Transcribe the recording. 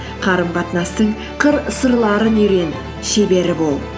қарым қатынастың қыр сырларын үйрең шебері бол